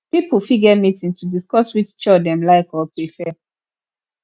pipo fit get meeting to discuss which chore dem like or prefer